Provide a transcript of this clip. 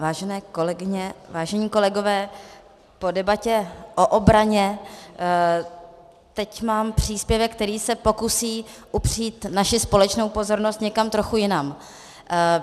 Vážené kolegyně, vážení kolegové, po debatě o obraně teď mám příspěvek, který se pokusí upřít naši společnou pozornost někam trochu jinam.